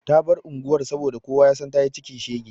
Ta bar unguwar saboda kowa ya san ta yi cikin shege.